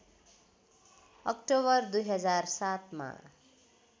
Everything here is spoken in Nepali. अक्टोबर २००७ मा